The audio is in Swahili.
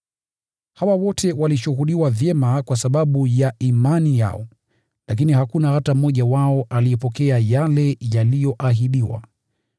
Hawa wote walishuhudiwa vyema kwa sababu ya imani yao, lakini hakuna hata mmoja wao aliyepokea yale yaliyoahidiwa.